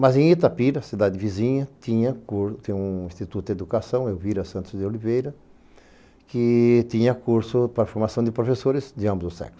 Mas em Itapira, cidade vizinha, tinha um tinha um instituto de educação, Euvira Santos de Oliveira, que tinha curso para formação de professores de ambos os sexos.